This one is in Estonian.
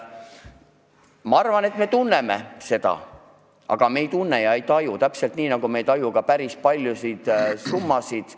Ma arvan, et me teame seda, aga me ei tunne ega taju seda, täpselt nii, nagu me ei taju päris paljusid summasid.